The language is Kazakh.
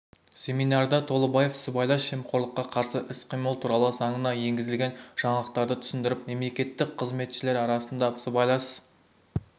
семинарда толыбаев сыбайлас жемқорлыққа қарсы іс-қимыл туралы заңына енгізілген жаңалықтарды түсіндіріп мемлекеттік қызметшілер арасында сыбайлас